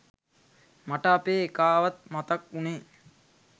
මට අපේ එකාවත් මතක් වුනේ.